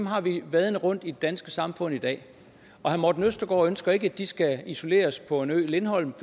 har vi vadende rundt i det danske samfund i dag og herre morten østergaard ønsker ikke at de skal isoleres på øen lindholm